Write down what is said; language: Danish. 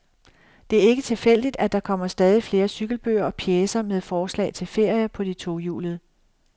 Det er ikke tilfældigt, at der kommer stadig flere cykelbøger og pjecer med forslag til ferier på de tohjulede.